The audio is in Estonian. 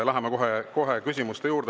Läheme kohe küsimuste juurde.